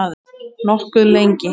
Nokkuð lengi.